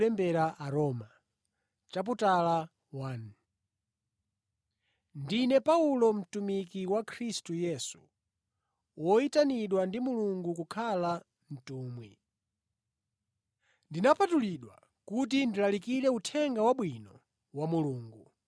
Ndine Paulo, mtumiki wa Khristu Yesu, woyitanidwa ndi Mulungu kukhala mtumwi. Ndinapatulidwa kuti ndilalikire Uthenga Wabwino wa Mulungu